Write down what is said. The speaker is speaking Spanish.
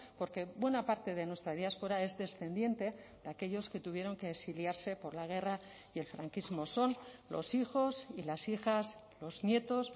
porque buena parte de nuestra diáspora es descendiente de aquellos que tuvieron que exiliarse por la guerra y el franquismo son los hijos y las hijas los nietos